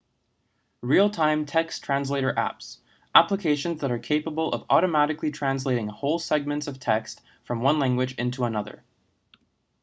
real-time text translator apps applications that are capable of automatically translating whole segments of text from one language into another